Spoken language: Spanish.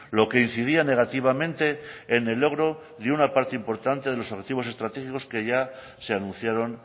lo que incidía negativamente en el logro de una parte importante de los objetivos estratégicos que ya se anunciaron